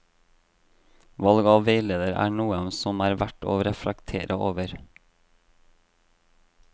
Valg av veileder er noe som er verdt å reflektere over.